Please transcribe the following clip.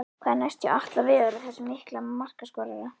Hvað er næst hjá Atla Viðari, þessum mikla markaskorara?